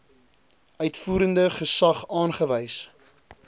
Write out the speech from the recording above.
uitvoerende gesag aangewys